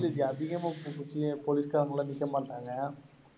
இல்ல ஜி அதிகமா போலீஸ்காரங்கெல்லாம் நிக்க மாட்டாங்க.